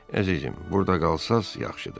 Əzizim, burda qalsanız yaxşıdır.